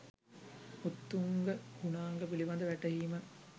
උත්තුංග ගුණාංග පිළිබඳ වැටහීම